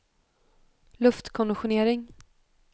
luftkonditionering